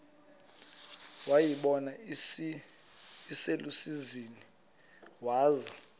wayibona iselusizini waza